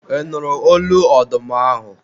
ị nụrụ olu ọdụm ahụ?